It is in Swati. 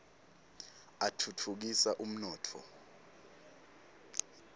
atfutfukisa umnotfo